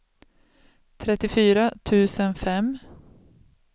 trettiofyra tusen fem